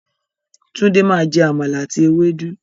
Tunde máa jẹ Àmàlà àti ewédú.